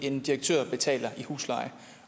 en direktør betaler i husleje